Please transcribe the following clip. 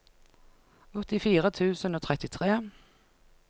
åttifire tusen og trettitre